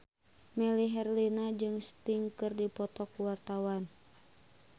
Melly Herlina jeung Sting keur dipoto ku wartawan